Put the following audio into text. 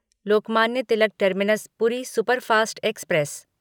Lokmanya Tilak terminus Puri superfast express